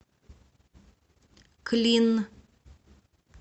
клин